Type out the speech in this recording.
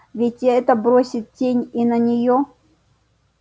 ведь и это бросит тень и на неё